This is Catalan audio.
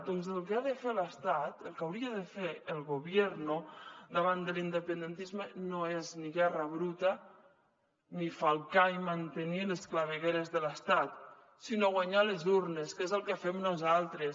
doncs el que ha de fer l’estat el que hauria de fer el gobierno davant de l’independentisme no és ni guerra bruta ni falcar ni mantenir les clavegueres de l’estat sinó guanyar a les urnes que és el que fem nosaltres